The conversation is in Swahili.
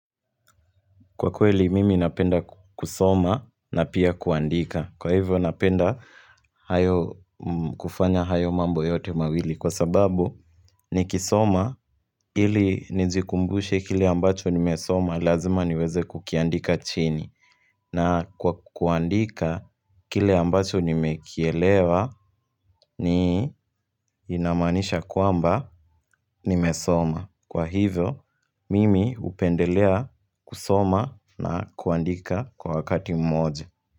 Kwa kweli mimi napenda kusoma na pia kuandika Kwa hivyo napenda kufanya hayo mambo yote mawili Kwa sababu nikisoma ili nijikumbushe kile ambacho nimesoma Lazima niweze kukiandika chini na kwa kuandika kile ambacho nimekielewa inamaanisha kwamba nimesoma Kwa hivyo, mimi hupendelea kusoma na kuandika kwa wakati mmoja.